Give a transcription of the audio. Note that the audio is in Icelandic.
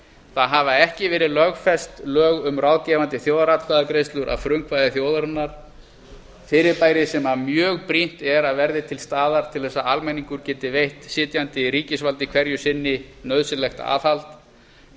það hafa ekki verið lögfest lög um ráðgefandi þjóðaratkvæðagreiðslur að frumkvæði þjóðarinnar fyrirbæri sem mjög brýnt er að verði til staðar til að almenningur geti veitt sitjandi ríkisvaldi hverju sinni nauðsynlegt aðhald við